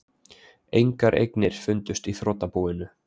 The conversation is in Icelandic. Engar eignir fundust í þrotabúinu